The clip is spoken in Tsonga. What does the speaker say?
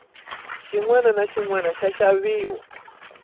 xinwana na xinwana xa xaviwa